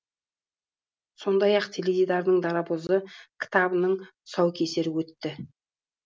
сондай ақ теледидардың дарабозы кітабының тұсаукесері өтті